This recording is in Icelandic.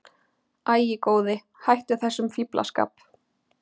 Æ, góði, hættu þessum fíflaskap.